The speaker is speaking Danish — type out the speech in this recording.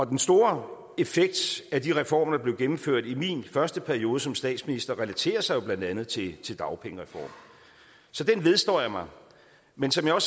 den store effekt af de reformer der blev gennemført i min første periode som statsminister relaterer sig jo blandt andet til til dagpengereformen så den vedstår jeg mig men som jeg